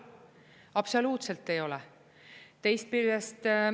Absoluutselt ei ole. …….